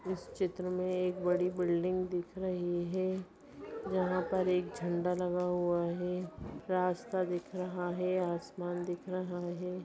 इस चित्र में एक बड़ी बिल्डिंग दिख रही है जहाँ पर एक झंडा लगा हुआ है रास्ता दिख रहा है आसमान दिख रहा है।